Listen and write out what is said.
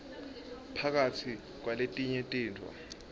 phakatsi kwaletinye tintfo